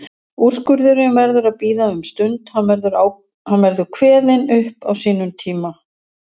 Úrskurðurinn verður að bíða um stund, hann verður kveðinn upp á sínum tíma.